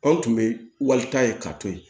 Anw tun bɛ walita ye ka to yen